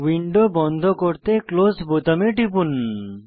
window বন্ধ করতে close বোতামে টিপুন